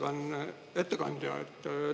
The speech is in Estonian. Austatud ettekandja!